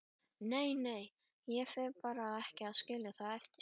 Nei, nei, ég fer ekki að skilja það eftir.